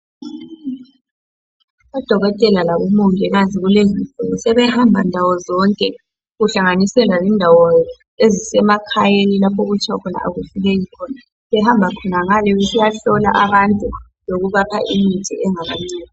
Odokotela labo mongikazi kulezi insuku sebehamba ndawo zonke kuhlanganisela lendawo ezisemakhayeni lapho okuthiwa akufikeki khona behamba khona ngale besiya hlolwa abantu lokubapha imithi.